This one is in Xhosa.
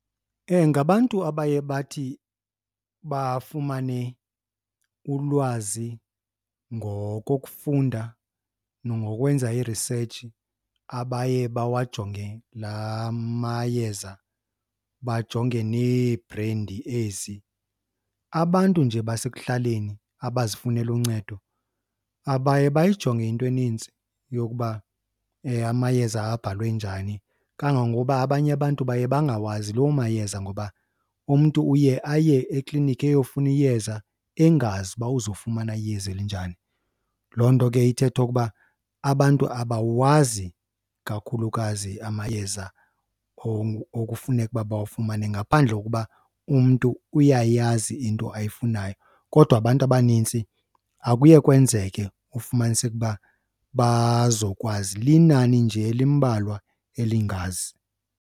Ngabantu abaye bathi bafumane ulwazi ngokokufunda nangokwenza i-research abaye bawajonge laa mayeza bajonge neebhrendi ezi. Abantu nje basekuhlaleni abazifunela uncedo abaye bayijonge into enintsi yokuba amayeza abhalwe njani, kangangoba abanye abantu baye bangawazi loo mayeza ngoba umntu uye aye ekliniki eyofuna iyeza engazi uba uzofumana iyeza elinjani. Loo nto ke ithetha ukuba abantu abawazi kakhulukazi amayeza okufuneka uba bawufumane, ngaphandle kokuba umntu uyayazi into ayifunayo. Kodwa abantu abanintsi akuye kwenzeke kufumaniseke uba bazokwazi, linani nje elimbalwa elingazi.